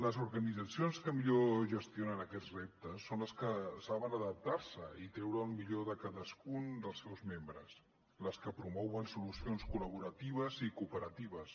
les organitzacions que millor gestionen aquests reptes són les que saben adaptar se i treure el millor de cadascun dels seus membres les que promouen so lucions col·laboratives i cooperatives